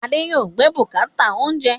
Adé yòó gbé bùkátà oúnjẹ